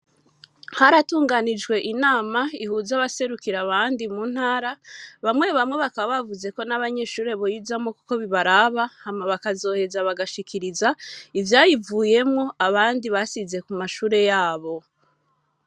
Haratunganijwe inama, ihuza abaserukira abandi, mu ntara; bamwe bamwe, bakaba bavuze ko, n'abanyeshure boyizamwo, kuko bibaraba; hama bakazoheza, bagashikiriza, ivyayivuyemwo, abandi basize, ku mashure yabo.